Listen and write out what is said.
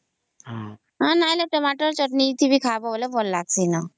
ଆଉ ନାହିଁ ହେଲେ Tomato ଚଟଣି ବି ଖାଇବା ହେଲେ ଭଲ ଲାଗିଁସି ନ